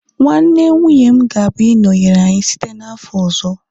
nwanne nwunye m gabia -inọnyere anyị site n'afọ ọzọ